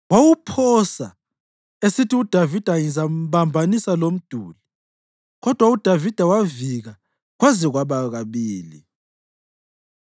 wawuphosa esithi, “UDavida ngizambambanisa lomduli.” Kodwa uDavida wavika kwaze kwaba kabili.